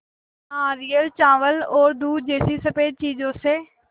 नारियल चावल और दूध जैसी स़फेद चीज़ों से